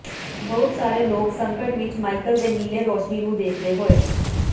ਬਹੁਤ ਸਾਰੇ ਲੋਕ ਸੰਕਟ ਵਿੱਚ ਮਾਈਕਲ ਦੇ ਨੀਲੇ ਰੌਸ਼ਨੀ ਨੂੰ ਦੇਖਦੇ ਹੋਏ